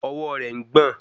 Ọwọ́ rẹ̀ ń gbọ̀n